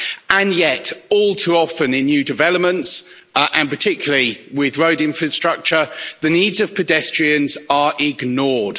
And yet, all too often in new developments and particularly with road infrastructure the needs of pedestrians are ignored.